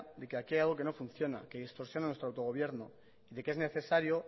de que aquí hay algo que no funciona que distorsiona nuestro autogobierno de que es necesario